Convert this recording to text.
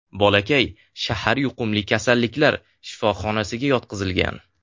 Bolakay shahar yuqumli kasalliklar shifoxonasiga yotqizilgan.